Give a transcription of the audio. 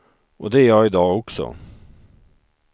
Och det är jag i dag också.